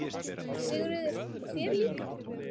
Sigríður: Og þér líka?